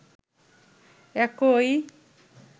একই